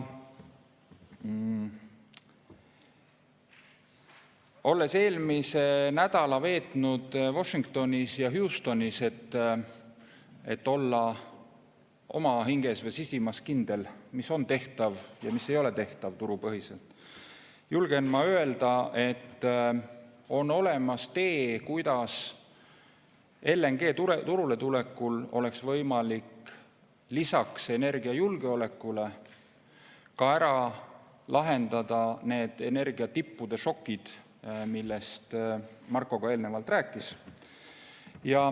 Olles eelmise nädala veetnud Washingtonis ja Houstonis, et olla oma hinges või sisimas kindel, mis turupõhiselt on tehtav ja mis ei ole tehtav, julgen ma öelda, et on olemas tee, kuidas LNG turule tulekul oleks võimalik lisaks energiajulgeolekule lahendada need energiatippude šokid, millest Marko eelnevalt rääkis.